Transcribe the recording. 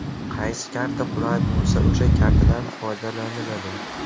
Qaysi karta qulay bo‘lsa, o‘sha kartadan foydalaniladi.